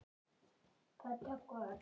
Þannig vill ljónið hafa það.